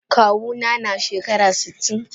Kawu na na shekara sitin.